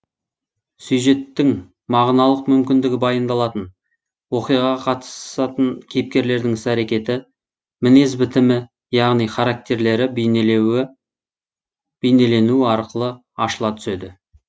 сюжеттің мағыналық мүмкіндігі баяндалатын оқиғаға катысатын кейіпкерлердің іс әрекеті мінез бітімі яғни характерлері бейнеленуі арқылы ашыла түседі